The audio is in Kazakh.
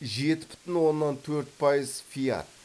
жеті бүтін оннан төрт пайыз фиат